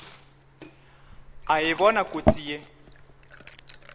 a e bona kotsi ye